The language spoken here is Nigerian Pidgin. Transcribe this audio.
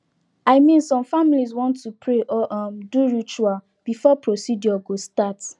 i min some familiz wan to pray or um do ritual before procedure go start